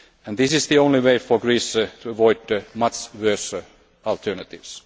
country. This is the only way for Greece to avoid much worse alternatives.